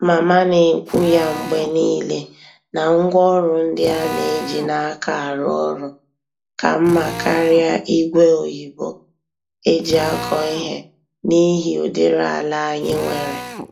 Mama na-ekwu ya mgbe nile na ngwaọrụ ndị a na-eji n'aka arụ ọrụ, ka mma karịa ígwè oyibo eji akọ ihe n'ihi ụdịrị ala anyị nwere.